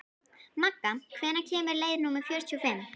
Magga, hvenær kemur leið númer fjörutíu og fimm?